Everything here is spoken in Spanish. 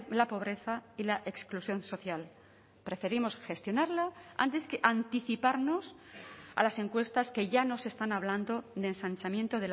la pobreza y la exclusión social preferimos gestionarla antes que anticiparnos a las encuestas que ya nos están hablando de ensanchamiento